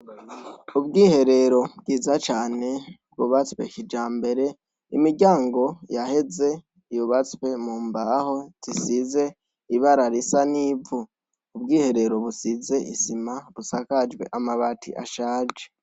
Ubwiherero bwiza cane bwubatse kijambere imiryango yaheze yubatse mumbaho zisize ibara risa nivu ubwiherero busize isima busakajwe amabati ashaje